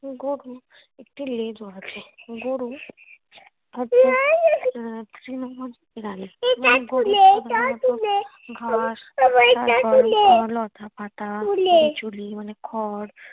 গরুর একটি লেজও আছে। গরু তৃণভোজী প্রাণী লতাপাতা মানে খড়